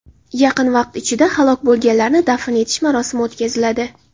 Yaqin vaqt ichida halok bo‘lganlarni dafn etish marosimi o‘tkaziladi.